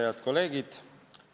Head kolleegid!